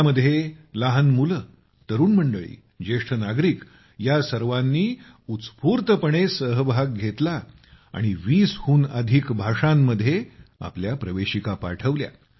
यामध्ये लहान मुले युवक ज्येष्ठ नागरिक या सर्वांनी उत्स्फूर्तपणे सहभाग घेतला आणि 20 हून अधिक भाषांमध्ये आपल्या प्रवेशिका पाठवल्या